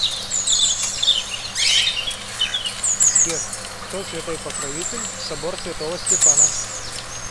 сбер кто святой покровитель собор святого стефана